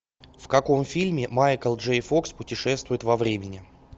в каком фильме майкл джей фокс путешествует во времени